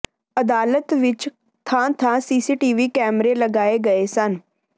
ਅਦਾਲਤ ਵਿੱਚ ਥਾਂ ਥਾਂ ਸੀਸੀਟੀਵੀ ਕੈਮਰੇ ਲਗਾਏ ਗਏ ਸਨ